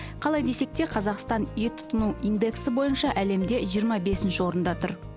қалай десек те қазақстан ет тұтыну индексі бойынша әлемде жиырма бесінші орында тұр